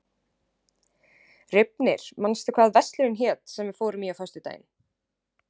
Reifnir, manstu hvað verslunin hét sem við fórum í á föstudaginn?